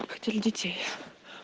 хотели детей